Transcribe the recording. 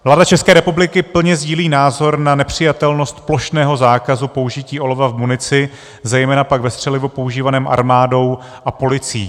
Vláda České republiky plně sdílí názor na nepřijatelnost plošného zákazu použití olova v munici, zejména pak ve střelivu používaném armádou a policií.